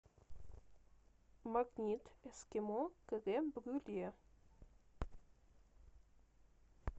магнит эскимо крем брюле